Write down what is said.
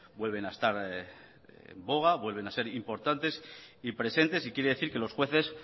vuelven a estar en boga vuelven a ser importantes y presentes y quiere decir que los jueces